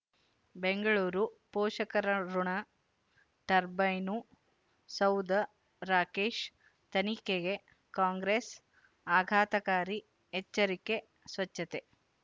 ಬೆಂಗಳೂರು ಪೋಷಕರಋಣ ಟರ್ಬೈನು ಸೌಧ ರಾಕೇಶ್ ತನಿಖೆಗೆ ಕಾಂಗ್ರೆಸ್ ಆಘಾತಕಾರಿ ಎಚ್ಚರಿಕೆ ಸ್ವಚ್ಛತೆ